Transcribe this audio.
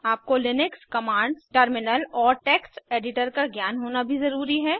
आपको Linux commands terminal और text editor का ज्ञान होना भी ज़रूरी है